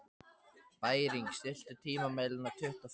Bæring, stilltu tímamælinn á tuttugu og fimm mínútur.